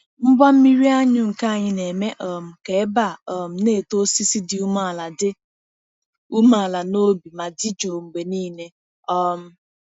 Ngwa mmiri anyụ nke anyị na-eme um ka ebe a um na-eto osisi dị umeala dị umeala n’obi ma dị jụụ mgbe niile. um